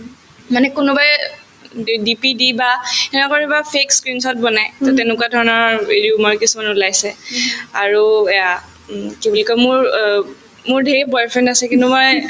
মানে কোনোবাই উম এই DP দি বা সেনে কৰি বা fake screenshot বনাই to তেনেকুৱা ধৰণৰ কিছুমানৰ ওলাইছে আৰু এয়া উম কি বুলি কই মোৰ অ মোৰ ধেৰ boyfriend আছে কিন্তু মই